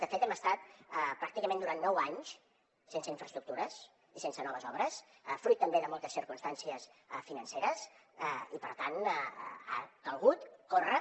de fet hem estat pràcticament durant nou anys sense infraestructures i sense noves obres fruit també de moltes circumstàncies financeres i per tant ha calgut córrer